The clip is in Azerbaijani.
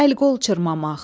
Əl-qol çırmamaq.